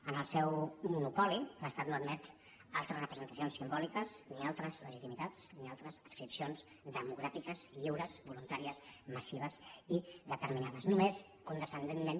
en el seu monopoli l’estat no admet altres representacions simbòliques ni altres legitimitats ni altres adscripcions democràtiques lliures voluntàries massives i determinades només condescendentment